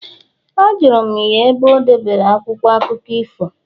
Ajụrụ m ya ebe o debere akwụkwọ akụkọ ifo